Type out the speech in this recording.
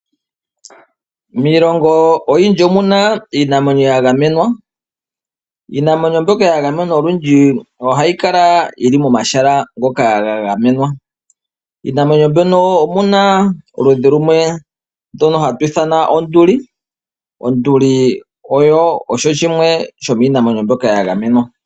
Miilongo oyindji omuna Iinamwenyo yangamenwa, Iinamwenyo mbyoka yangamenwa olundji ohayi kala yili momahala ngoka ngangamenwa, Iinamwenyo mbyoka omuna oludhi lumwe ndono hatulwithana Onduli, Onduli oyo shimwe shominamwenyo mbyoka yangamenwa.